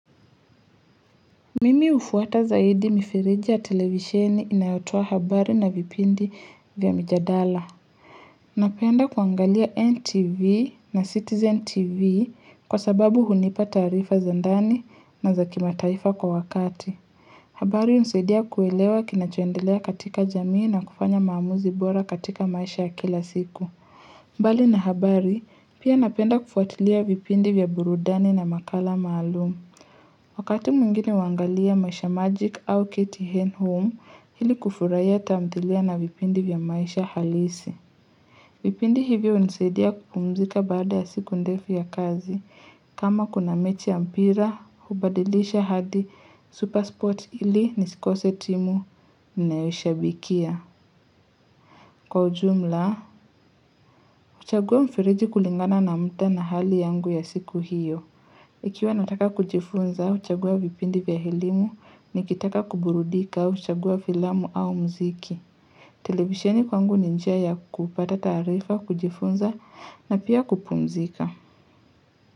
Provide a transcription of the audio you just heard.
Mimi hufuata zaidi mifereji ya televisheni inayotoa habari na vipindi vya mjadala. Napenda kuangalia NTV na Citizen TV kwa sababu hunipa taarifa za ndani na za kimataifa kwa wakati. Habari husaidia kuelewa kinachoendelea katika jamii na kufanya maamuzi bora katika maisha ya kila siku. Mbali na habari pia napenda kufuatilia vipindi vya burudani na makala maalum. Wakati mwingine huangalia maisha magic au KTN home hili kufurahia tamthilia na vipindi vya maisha halisi. Vipindi hivyo hunisidia kupumzika baada ya siku ndefu ya kazi. Kama kuna mechi ya mpira, hubadilisha hadi super spot hili nisikose timu ninayoshabikia. Kwa ujumla, uchagua mfireji kulingana na mda na hali yangu ya siku hiyo. Ikiwa nataka kujifunza huchagua vipindi vya elimu nikitaka kuburudika huchagua filamu au mziki. Televisheni kwangu ni njia ya kupata taarifa, kujifunza na pia kupumzika.